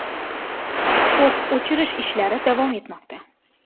O‘t o‘chirish ishlari davom etmoqda.